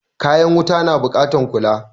Kayan wuta na buƙatar kula.